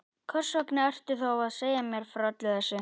Hversvegna ertu þá að segja mér frá öllu þessu?